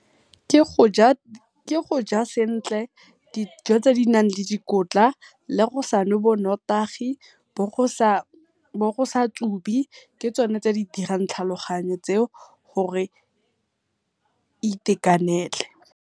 Ke goja sentle dijo tse di nang le dikotla, le go sa nwe bo notagi, bo go sa tsubi, ke tsone tse di dirang tlhaloganyo tseo gore e itakanele.